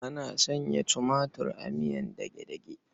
Ana sanya tumatir a miyar dage-dage.